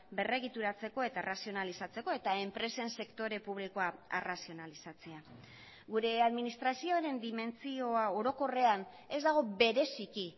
berregituratzeko eta arrazionalizatzeko eta enpresen sektore publikoa arrazionalizatzea gure administrazioaren dimentsioa orokorrean ez dago bereziki